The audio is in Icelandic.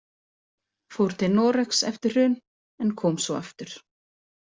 Fór til Noregs eftir hrun en kom svo aftur.